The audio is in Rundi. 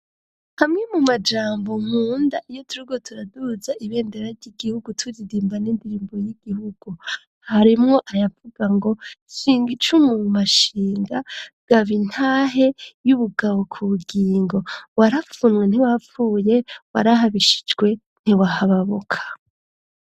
Hamwe mu majambo nkunda iyo turiko turaduza ibendera ry'igihugu turirimba n'indirimbo y'igihugu harimwo ayavuga ngo shinze icumu mu mashinga gabi ntahe y'ubugabo ku bugingo warapfunwe ntiwapfuye warahabishijwe ntiwahababuka.